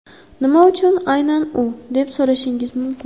Nima uchun aynan u, deb so‘rashingiz mumkin.